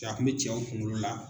Ka kun be cɛw kuŋolo la